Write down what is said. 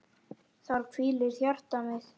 Þar hvílir hjarta mitt.